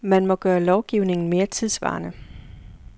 Man må gøre lovgivningen mere tidssvarende.